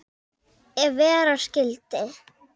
Ef vera skyldi.